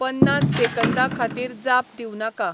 पन्नास सेकंदां खातीर जाप दिव नाका